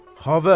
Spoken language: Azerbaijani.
Xavər!